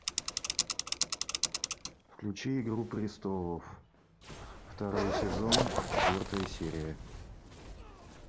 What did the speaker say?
включи игру престолов второй сезон четвертая серия